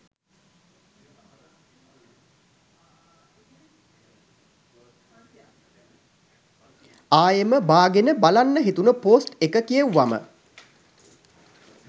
ආයෙම බාගෙන බලන්න හිතුන පෝස්ට් එක කියෙව්වම.